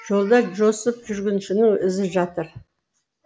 жолда жосып жүргіншінің ізі жатыр